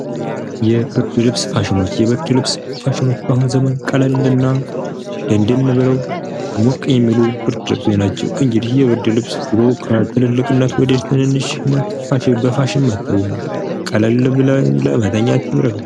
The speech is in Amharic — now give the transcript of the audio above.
የብርድ ልብስ ፋሽኖች የብርድ ልብስ ፋሽኖች በአሁኑ ዘመን ቀለል እና ደንደን ብለው ሞቅ የሚሉ ብርድ ልብሶች ናቸው። እንግዲህ የብርድ ልብስ ትልልቅነት ወደ ትንንሽነት በፋሽን መጥቷል። ቀለል ብለን ለመተኛት ይረዱናል።